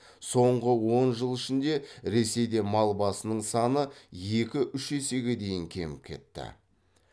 соңғы он жыл ішінде ресейде мал басының саны екі үш есеге дейін кеміп кетті